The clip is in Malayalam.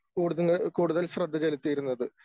കൂടുതൽ കൂടുതൽ ശ്രദ്ധ ചെലുത്തിയിരുന്നത്.